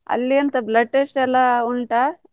ಅಲ್ಲಿ ಎಂತ blood test ಎಲ್ಲಾ ಉಂಟಾ?